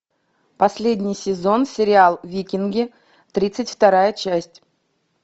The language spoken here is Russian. последний сезон сериал викинги тридцать вторая часть